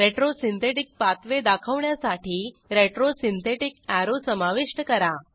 retro synthetic pathway दाखवण्यासाठी retro synthetic arrow समाविष्ट करा